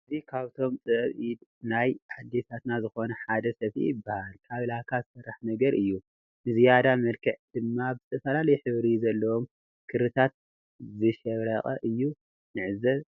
እዚ ካብቶም ጥበብ ናይ ኣዴታትና ዝኮነ ሓደ ሰፍኢ ይበሃል። ካብ ላካ ዝስራሕ ነገር እዩ ንዝያዳ መልክዕ ድማ ብዝተፈላለዩ ሕብሪ ዘለዎም ክሪታት ዝሸብረቀ እዩ ንዕዘብ ዘለና።